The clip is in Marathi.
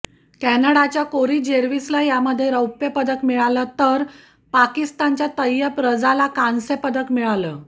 कॅनडाच्या कोरी जेरविसला यामध्ये रौप्य पदक मिळालं तर पाकिस्तानच्या तैयब रजाला कांस्य पदक मिळालं